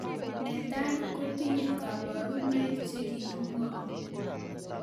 Netai kotinye kabarunoik che kakimwau